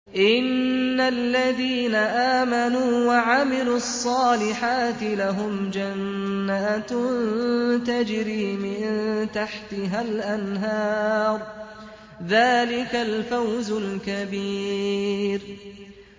إِنَّ الَّذِينَ آمَنُوا وَعَمِلُوا الصَّالِحَاتِ لَهُمْ جَنَّاتٌ تَجْرِي مِن تَحْتِهَا الْأَنْهَارُ ۚ ذَٰلِكَ الْفَوْزُ الْكَبِيرُ